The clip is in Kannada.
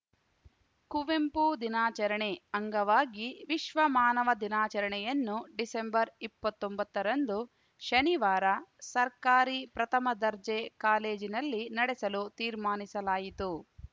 ಕುವೆಂಪು ದಿನಾಚರಣೆ ಅಂಗವಾಗಿ ವಿಶ್ವಮಾನವ ದಿನಾಚರಣೆಯನ್ನು ಡಿಸೆಂಬರ್ಇಪ್ಪತ್ತೊಂಬತ್ತರಂದು ಶನಿವಾರ ಸರ್ಕಾರಿ ಪ್ರಥಮ ದರ್ಜೆ ಕಾಲೇಜಿನಲ್ಲಿ ನಡೆಸಲು ತೀರ್ಮಾನಿಸಲಾಯಿತು